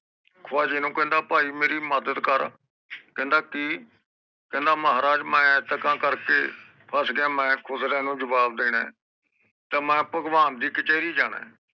ਖਵਾਜੇ ਨੂੰ ਕਹਿੰਦਾ ਭਾਈ ਮੇਰੀ ਮਦਦ ਕਰ ਕਹਿੰਦਾ ਕਿ ਕਹਿੰਦਾ ਮਹਾਰਾਜ ਮੈਂ ਐਂਤਕਾ ਕਰਕੇ ਫਸ ਗਯਾ ਮੈਂ ਖੁਸਰਿਆਂ ਨੂੰ ਜਵਾਬ ਦੇਣਾ ਏ ਤਾ ਮੈਂ ਭਗਵਾਨ ਦੀ ਕਚੈਰੀ ਜਾਣਾ ਏ